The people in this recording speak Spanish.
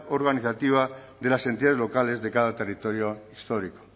organizativa de las entidades locales de cada territorio histórico